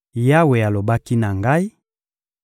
Yawe alobaki na ngai: